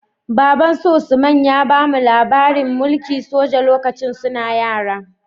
Babbansu usman ya bamu labarin mulki soja lokacin suna yara